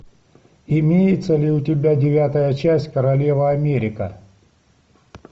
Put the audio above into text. имеется ли у тебя девятая часть королева америка